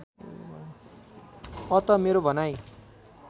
अत मेरो भनाइ